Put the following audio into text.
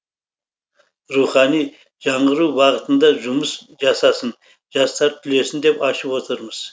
рухани жаңғыру бағытында жұмыс жасасын жастар түлесін деп ашып отырмыз